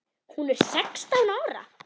Hún er sextán ára.